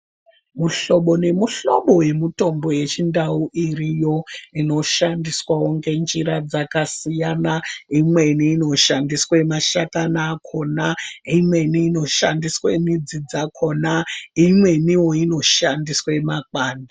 Muhlobo ne mu hlobo we mutombo ye chindau iriyo ino shandiswawo nge njira dzakasiyana imweni ino shandiswe mashakani akona imweni ino shandiswe midzi dzakona imweniwo ino shandiswe makwande.